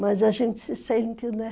Mas a gente se sente, né?